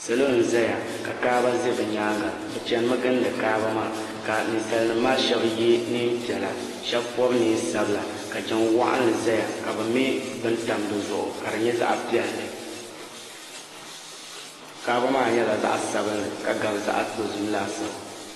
Salo n zaya ka kaaba za bi nyaanga bi chana mi gindi kaaba maa ka ninsali nim maa shɛba yɛ niɛn piɛla shɛba pɔbi niɛn sabila ka jiŋ waɣinli zaya ka bi mɛ bini tam di zuɣu ka di nyɛ zaɣa piɛlli kaɣaba maa nyɛla zaɣa sabinli ka gabi zaɣa dozim laasabu.